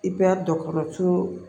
I bɛ dɔgɔtɔrɔso